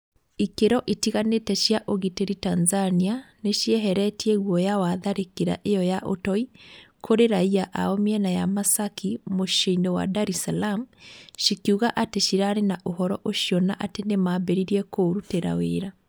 Ikĩro itiganĩte cia ũgitĩri Tanzania nĩcieheretie guoya wa tharĩkĩra ĩo ya ũtoi kũrĩ raia ao mĩena ya Masaki muciĩ-inĩ wa Dar es Salaam cikiuga atĩ cirarĩ na ũhoro ũcio na atĩ nĩmambĩrĩirie kũũrutĩra wĩra.